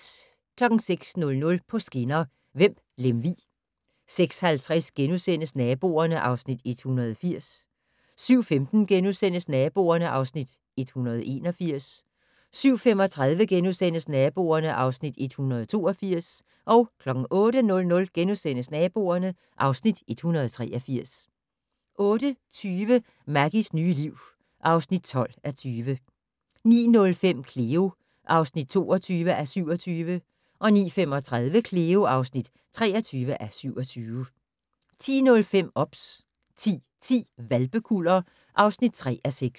06:00: På skinner: Vemb-Lemvig 06:50: Naboerne (Afs. 180)* 07:15: Naboerne (Afs. 181)* 07:35: Naboerne (Afs. 182)* 08:00: Naboerne (Afs. 183)* 08:20: Maggies nye liv (12:20) 09:05: Cleo (22:27) 09:35: Cleo (23:27) 10:05: OBS 10:10: Hvalpekuller (3:6)